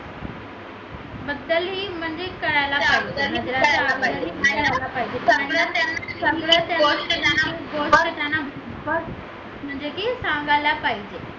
बदलही म्हणजे हे कळायला पाहिजे म्हणजे की सांगायला पाहिजे